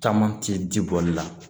Caman tɛ ji bɔli la